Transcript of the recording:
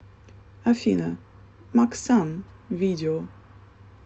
афина максан видео